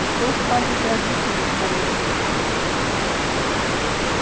что скажут родители твои